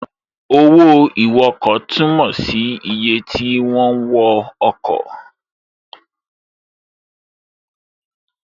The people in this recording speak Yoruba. Owó ìwọkọ̀ túnmọ̀ sí iye ti wọ́n wọ ọkọ̀